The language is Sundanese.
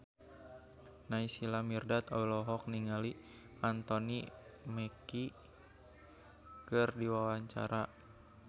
Naysila Mirdad olohok ningali Anthony Mackie keur diwawancara